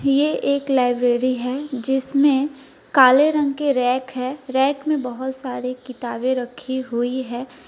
ये एक लाइब्रेरी है जिसमें काले रंग के रैक है रैक में बहौत सारी किताबें रखी हुई है।